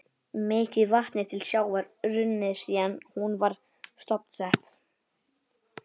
Mikið vatn er til sjávar runnið síðan hún var stofnsett.